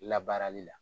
Labaarali la